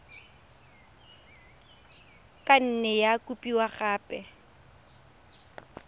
ka nne ya kopiwa gape